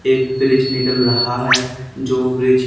एक ब्रिज निकल रहा है जो ब्रिज --